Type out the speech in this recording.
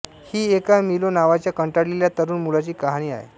ही एका मिलो नावाच्या कंटाळलेल्या तरूण मुलाची कहाणी आहे